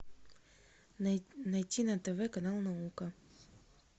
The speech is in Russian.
найти на тв канал наука